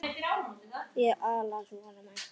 Ég álasa honum ekki.